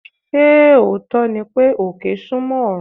Ṣé òótọ́ ni pé, òkè súnmọ́ ọ̀run?